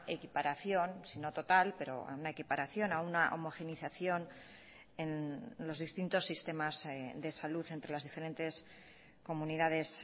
equiparación si no total pero a una equiparación a una homogenización en los distintos sistemas de salud entre las diferentes comunidades